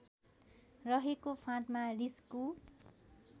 रहेको फाँटमा रिस्कु